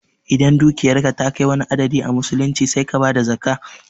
Idan dukiyarka ta kai wani adadi a musulunci sai ka bada zakkah